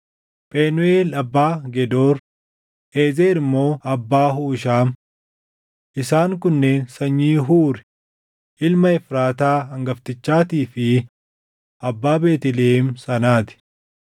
Phenuuʼeel abbaa Gedoor; Eezer immoo abbaa Huushaam. Isaan kunneen sanyii Huuri ilma Efraataa hangaftichaatii fi abbaa Beetlihem sanaa ti.